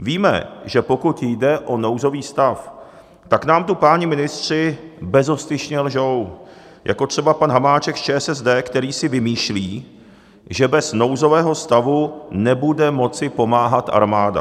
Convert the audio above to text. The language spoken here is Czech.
Víme, že pokud jde o nouzový stav, tak nám tu páni ministři bezostyšně lžou, jako třeba pan Hamáček z ČSSD, který si vymýšlí, že bez nouzového stavu nebude moci pomáhat armáda.